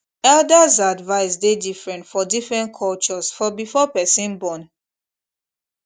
elders advice dey different for different cultures for before person born